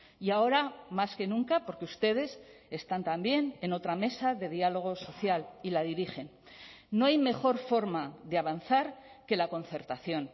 y ahora más que nunca porque ustedes están también en otra mesa de diálogo social y la dirigen no hay mejor forma de avanzar que la concertación